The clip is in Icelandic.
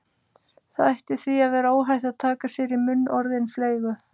Það ætti því að vera óhætt að taka sér í munn orðin fleygu